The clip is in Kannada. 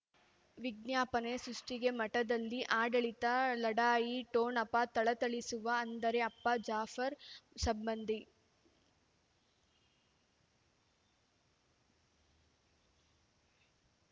ವಿಜ್ಞಾಪನೆ ಸೃಷ್ಟಿಗೆ ಮಠದಲ್ಲಿ ಆಡಳಿತ ಲಢಾಯಿ ಠೊಣಪ ಥಳಥಳಿಸುವ ಅಂದರೆ ಅಪ್ಪ ಜಾಫರ್ ಸಂಬಂಧಿ